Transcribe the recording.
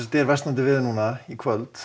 er versnandi veður í kvöld